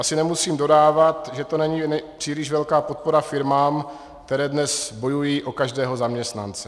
Asi nemusím dodávat, že to není příliš velká podpora firmám, které dnes bojují o každého zaměstnance.